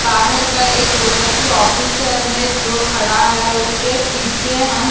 बाहर का एक कोशिकीय ऑफिसर है जो खड़ा है उसके पीछे हम --